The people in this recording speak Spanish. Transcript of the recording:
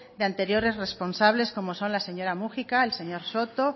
de anteriores responsables como son la señora múgica el señor soto